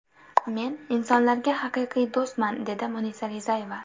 Men insonlarga haqiqiy do‘stman!” dedi Munisa Rizayeva.